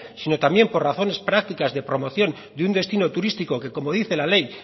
sino también por razones prácticas de promoción de un destino turístico que como dice la ley